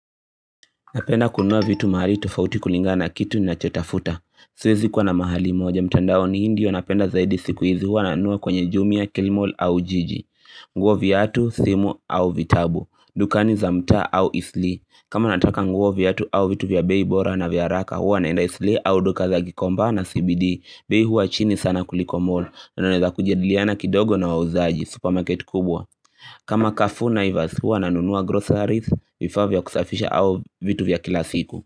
Napenda kununua vitu mahali tofauti kulingana na kitu ninachotafuta siwezi kuwa na mahali moja mtandaoni hii ndio napenda zaidi siku hizi huwa nanunua kwenye jumia, kilimall au jiji nguo viatu, simu au vitabu, dukani za mtaa au eastleigh kama nataka nguo viatu au vitu vya bei bora na vya haraka huwa naenda eastleigh au duka za gikomba na CBD bei hua chini sana kuliko mall unaeza kujadiliana kidogo na wauzaji, supermarket kubwa kama carrefour naivas huwa nanunua groceries vifaa vya kusafisha au vitu vya kila siku.